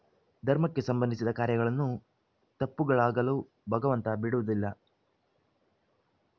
ಧರ್ಮಕ್ಕೆ ಸಂಬಂಧಿಸಿದ ಕಾರ್ಯಗಳಲನ್ನು ತಪ್ಪುಗಳಾಗಲು ಭಗವಂತ ಬಿಡುವುದಿಲ್ಲ